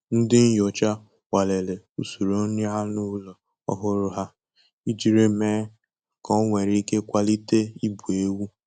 Ndị nyocha nwalere usoro nri anụ ụlọ ọhụrụ ha ijiri me ka o nwe ike kwalite ibu ewu